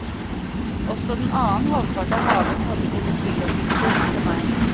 Også den annen halvpart av haven hadde sine tillokkelser for meg.